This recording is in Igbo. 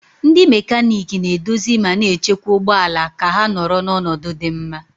Ndị mekaniiki na-edozi ma na-echekwa ụgbọ ala ka ha nọrọ n'ọnọdụ dị mma